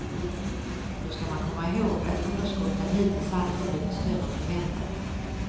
Då skall man komma ihåg att underskotten hittills alltid blivit större än förväntat.